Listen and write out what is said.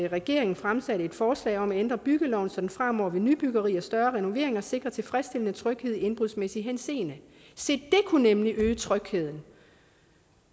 regeringen fremsatte et forslag om at ændre byggeloven så der fremover ved nybyggeri og større renoveringer sikres tilfredsstillende tryghed i indbrudsmæssig henseende se det kunne nemlig øge trygheden